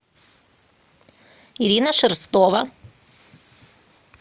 ирина шерстова